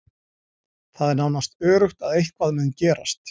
Það er nánast öruggt að eitthvað muni gerast.